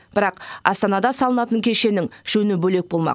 бірақ астанада салынатын кешеннің жөні бөлек болмақ